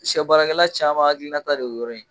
Siyɛbaarakɛla caman hakilinata de y'o yɔrɔ in ye.